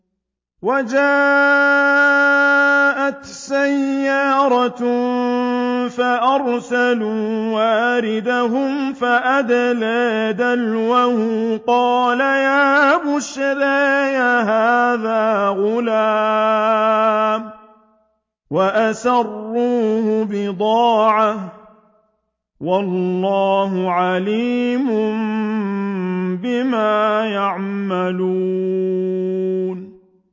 وَجَاءَتْ سَيَّارَةٌ فَأَرْسَلُوا وَارِدَهُمْ فَأَدْلَىٰ دَلْوَهُ ۖ قَالَ يَا بُشْرَىٰ هَٰذَا غُلَامٌ ۚ وَأَسَرُّوهُ بِضَاعَةً ۚ وَاللَّهُ عَلِيمٌ بِمَا يَعْمَلُونَ